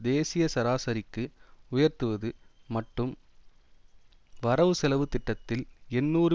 தேசிய சராசரிக்கு உயர்த்துவது மட்டும் வரவுசெலவு திட்டத்தில் எண்ணூறு